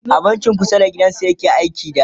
a bankin dake kusa da gidan su yake ta aiki da